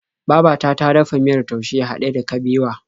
Babata ta dafa miyar taushe haɗe da kabewa.